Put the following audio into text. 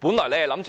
做法。